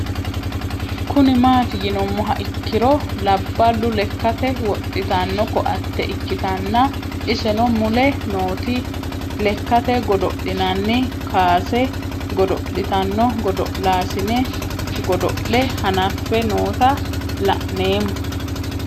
Kuni mati yinumoha ikiro labalu lekate woxitano koate ikitana iseno mule nootini lekate godoli'nnanni kuase godoli'tanno godol'asine godol'e hanafe noota la'nemo